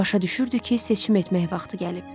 Başa düşürdü ki, seçim etmək vaxtı gəlib.